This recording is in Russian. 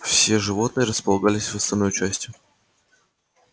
все животные располагались в остальной части